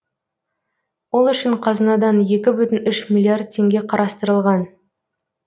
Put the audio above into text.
ол үшін қазынадан екі бүтін үш миллиард теңге қарастырылған